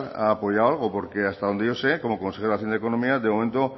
ha apoyado algo porque hasta donde yo sé como consejero de hacienda y economía de momento